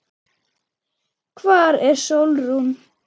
Hvar er Sólrún?